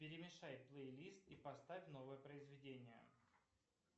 перемешай плейлист и поставь новое произведение